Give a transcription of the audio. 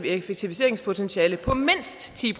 effektiviseringspotentiale på mindst ti